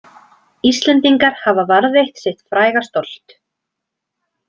Íslendingar hafa varðveitt sitt fræga stolt